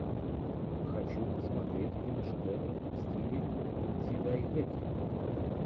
хочу посмотреть киношедевр в стиле дзидайгэки